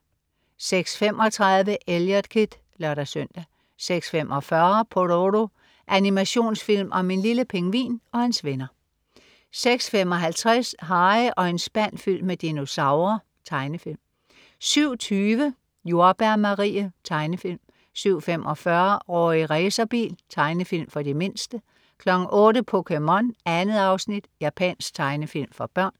06.35 Eliot Kid (lør-søn) 06.45 Pororo. Animationsfilm om en lille pingvin og hans venner 06.55 Harry og en spand fyldt med dinosaurer. Tegnefilm 07.20 Jordbær Marie. Tegnefilm 07.45 Rorri Racerbil. Tegnefilm for de mindste 08.00 POKéMON. 2 afsnit. Japansk tegnefilm for børn